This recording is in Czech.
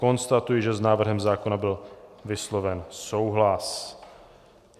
Konstatuji, že s návrhem zákona byl vysloven souhlas.